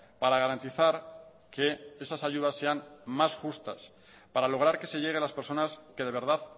para garantizar que esas ayudas sean más justas para lograr que se llegue a las personas que de verdad